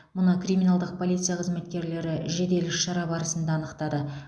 мұны криминалдық полиция қызметкерлері жедел іс шара барысында анықтады